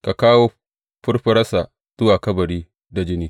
Ka kawo furfuransa zuwa kabari da jini.